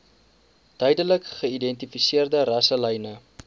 duidelik geïdentifiseerde rasselyne